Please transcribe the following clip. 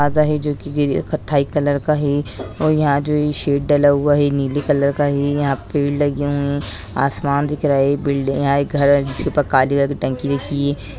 जो की है कत्थई कलर का है और यहाँ जो ये शैड डला हुआ है ये नीले कलर का है यहाँ पेड़ लगे हुए है आसमान दिख रा है बिल्डिंग है यहाँ एक घर है जिसके ऊपर एक काले कलर की टंकी रखी है।